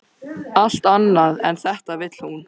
Allt annað en þetta vill hún.